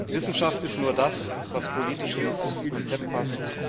Wissenschaft ist nur das, was politisch ins Konzept passt.